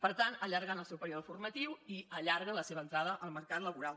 per tant allarguen el seu període formatiu i allarguen la seva entrada al mercat laboral